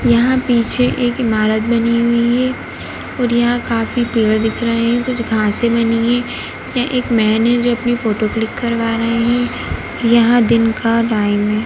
यहाँ पीछे एक इमारत बनी हुई है और यहाँ काफ़ी पेड़ दिख रहे हैं कुछ घाँसे बनी हैं। यहाँ एक मैन हैं जो अपनी फ़ोटो क्लिक करवा रहे हैं। यहाँ दिन का टाइम है।